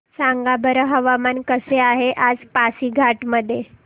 सांगा बरं हवामान कसे आहे आज पासीघाट मध्ये